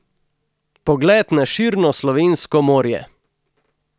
Pogled na širno slovensko morje!